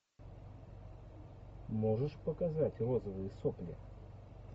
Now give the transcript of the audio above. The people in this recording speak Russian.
можешь показать розовые сопли